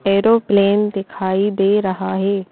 Aeroplane दिखाई दे रहा है।